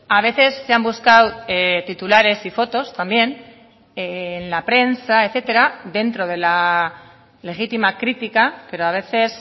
a veces se han buscado titulares y fotos también en la prensa etcétera dentro de la legítima crítica pero a veces